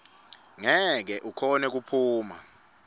ngeke ukhone kuphuma